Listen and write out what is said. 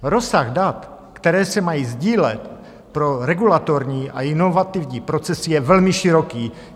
Rozsah dat, která se mají sdílet pro regulatorní a inovativní procesy, je velmi široký.